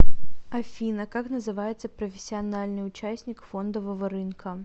афина как называется профессиональный участник фондового рынка